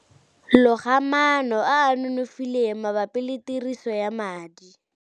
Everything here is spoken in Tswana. Loga maano a a nonofileng mabapi le tiriso ya madi.